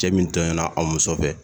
Cɛ min tɔɲɔna a muso fɛ